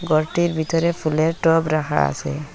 ঘরটির ভিতরে ফুলের টব রাখা আছে।